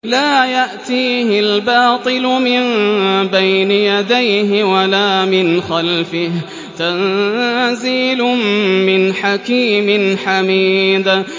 لَّا يَأْتِيهِ الْبَاطِلُ مِن بَيْنِ يَدَيْهِ وَلَا مِنْ خَلْفِهِ ۖ تَنزِيلٌ مِّنْ حَكِيمٍ حَمِيدٍ